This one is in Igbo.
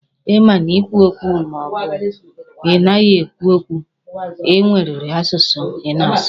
Ma ị na-ekwu okwu ma ọ bụ ị naghị ekwu okwu, e nweriri asụsụ ị ga na-asụ.